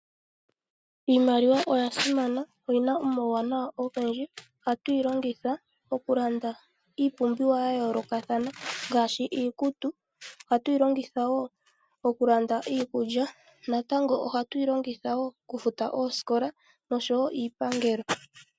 Iimaliwa oya simana oyina omauwanawa ogendji atuyi longitha okulanda iipumbiwa ya yoolokathana ngaashi iikutu, oha tuyi longitha wo okulanda iikulya natango oha tuyi longitha wo okufuta oosikola noshowo iipangelo.